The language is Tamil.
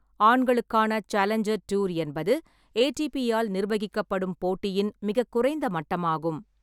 ஆண்களுக்கான சேலஞ்சர் டூர் என்பது ஏடிபி ஆல் நிர்வகிக்கப்படும் போட்டியின் மிகக் குறைந்த மட்டமாகும்